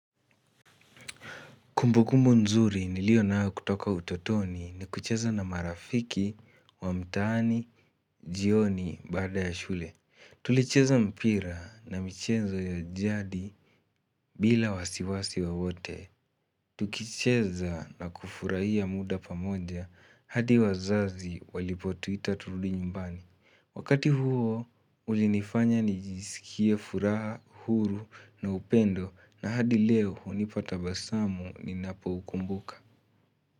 Kumbukumbu nzuri niliyonayo kutoka utotoni ni kucheza na marafiki wa mtaani jioni baada ya shule. Tulicheza mpira na michezo ya jadi bila wasiwasi wowote. Tukicheza na kufurahi ya muda pamoja hadi wazazi walipotuita turudi nyumbani. Wakati huo ulinifanya nijisikie furaha, huru na upendo na hadi leo hunipata tabasamu ninapokumbuka.